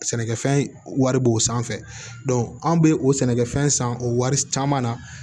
Sɛnɛkɛfɛn wari b'o sanfɛ an bɛ o sɛnɛkɛfɛn san o wari caman na